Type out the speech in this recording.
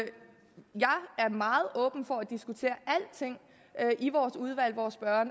er meget åben for at diskutere alting i vores udvalg hvor